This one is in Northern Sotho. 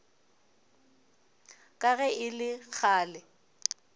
ka ge e le kgale